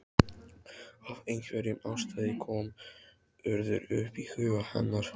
Af einhverjum ástæðum kom Urður upp í huga hennar.